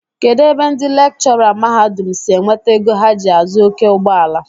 Kedụ ebe ndị lekchọra mahadum si enweta ego ha ji azụ oké ụgbọala?